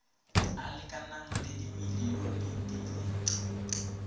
a lekanang le dimilione di